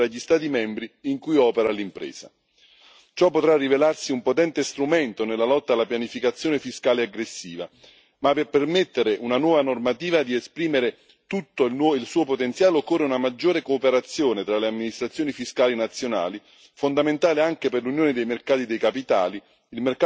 Ciò potrà rivelarsi un potente strumento nella lotta alla pianificazione fiscale aggressiva, ma per permettere a una nuova normativa di esprimere tutto il suo potenziale, occorre una maggiore cooperazione tra le amministrazioni fiscali nazionali, fondamentale anche per l'Unione dei mercati dei capitali, il mercato unico digitale e il piano di investimenti per l'Europa.